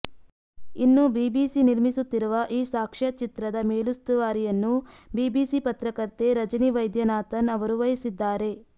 ಇನ್ನು ಬಿಬಿಸಿ ನಿರ್ಮಿಸುತ್ತಿರುವ ಈ ಸಾಕ್ಷ್ಯಚಿತ್ರದ ಮೇಲುಸ್ತುವಾರಿಯನ್ನು ಬಿಬಿಸಿ ಪತ್ರಕರ್ತೆ ರಜಿನಿ ವೈದ್ಯನಾಥನ್ ಅವರು ವಹಿಸಿದ್ದಾರೆ